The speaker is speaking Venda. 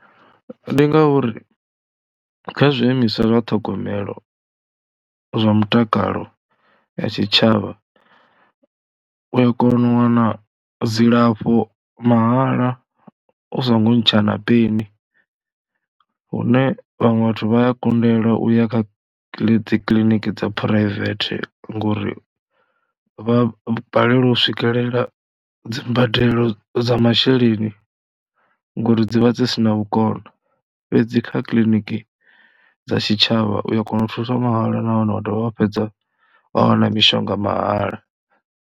Ndi ngauri kha zwiimiswa zwa ṱhogomelo zwa mutakalo ya tshitshavha u a kona u wana dzilafho mahala u songo ntsha na peni hune vhaṅwe vhathu vha ya kundelwa u ya kha dzi kiḽiniki dza phuraivethe ngori vha balelwa u swikelela dzi mbadelo dza masheleni ngauri dzi vha dzi si na vhukono, fhedzi kha kiḽiniki dza tshitshavha u ya kona u thuswa mahala nahone wa dovha vha fhedza wa wana mishonga mahala.